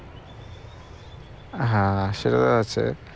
হ্যাঁ সেও আছে